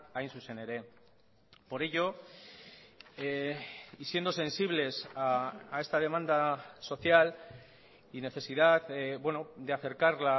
hain zuzen ere por ello y siendo sensibles a esta demanda social y necesidad de acercar